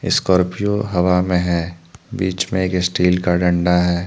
Scorpio हवा में है बीच में एक स्टील का डंडा है।